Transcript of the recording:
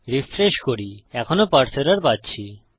refresh করি এখনও পারসে এরর পাচ্ছি